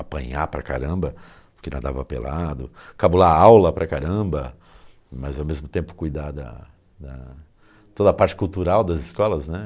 apanhar para caramba, porque nadava pelado, cabular aula para caramba, mas ao mesmo tempo cuidar da da... toda a parte cultural das escolas, né?